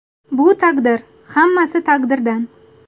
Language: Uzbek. Bu taqdir, hammasi taqdirdan.